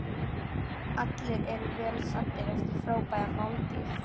Allir eru vel saddir eftir frábæra máltíð.